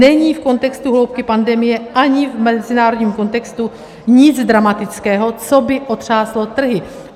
Není v kontextu hloubky pandemie ani v mezinárodním kontextu nic dramatického, co by otřáslo trhy.